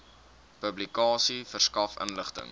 publikasie verskaf inligting